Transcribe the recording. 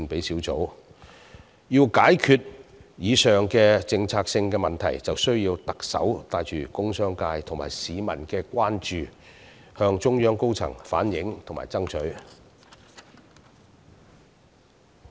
如要解決上述政策性問題，特首便要因應工商界及市民的關注，向中央高層反映及爭取。